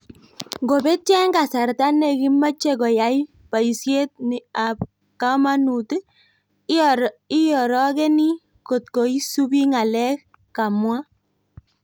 "Ngobeetio eng' kasarta nekimeeche koyai paisiet ni ap kamanut, iorokeeni kotko isuubi ng'aleek" Kamwaa